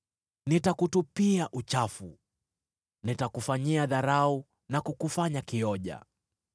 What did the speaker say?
Nitakutupia uchafu, nitakufanyia dharau na kukufanya kioja.